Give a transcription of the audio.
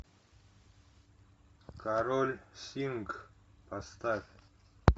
король сингх поставь